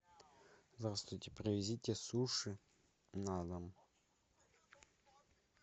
здравствуйте привезите суши на дом